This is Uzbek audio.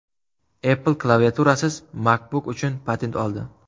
Apple klaviaturasiz MacBook uchun patent oldi.